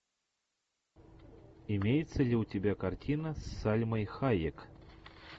имеется ли у тебя картина с сальмой хайек